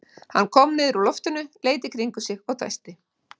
Hann kom niður úr loftinu, leit í kringum sig og dæsti.